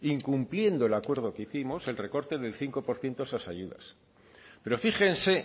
incumpliendo el acuerdo que hicimos el recorte del cinco por ciento a esas ayudas pero fíjense